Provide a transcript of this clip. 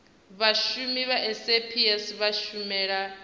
vhashumi vha saps vha shumela